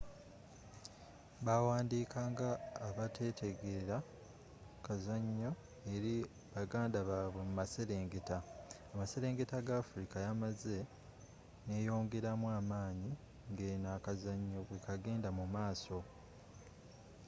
baaandiika nga abatategeera kazanyo eri baganda babwe mumaserengeta amaserengeta ga afrika yamaze neyongeramu amaanyi ngeno akazanyo bwekagenda mumaaso